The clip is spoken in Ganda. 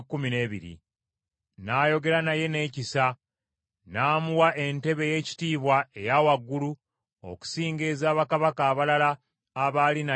N’ayogera naye n’ekisa n’amuwa entebe ey’ekitiibwa eya waggulu okusinga eza bakabaka abalala abaali naye e Babulooni.